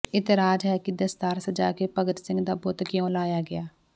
ਇਤਰਾਜ਼ ਹੈ ਕਿ ਦਸਤਾਰ ਸਜਾ ਕੇ ਭਗਤ ਸਿੰਘ ਦਾ ਬੁੱਤ ਕਿਉਂ ਲਾਇਆ ਗਿਆ